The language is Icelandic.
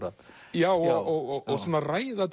já og ræða